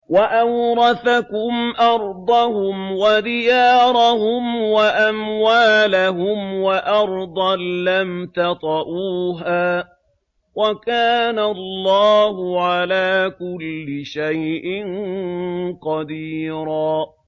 وَأَوْرَثَكُمْ أَرْضَهُمْ وَدِيَارَهُمْ وَأَمْوَالَهُمْ وَأَرْضًا لَّمْ تَطَئُوهَا ۚ وَكَانَ اللَّهُ عَلَىٰ كُلِّ شَيْءٍ قَدِيرًا